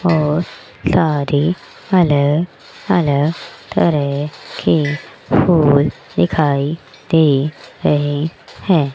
बहोत सारे अलग अलग तरह के फुल दिखाई दे रहे हैं।